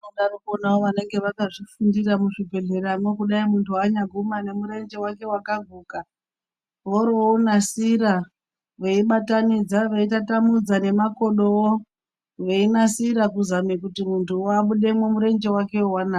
Vanodarokwo vanenge vakazvifundira muzvibhedhleramwo kudayi munhu wanyaguma ane nemurenje wake wakaguka woro wonasira veibatanidza veitatamudza nemakodowo veinasira kuzama kuti munhuwo abudemwo murenjewo wanaka.